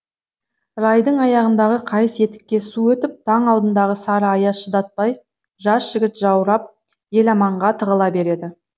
райдың аяғындағы қайыс етікке су өтіп таң алдындағы сары аяз шыдатпай жас жігіт жаурап еламанға тығыла береді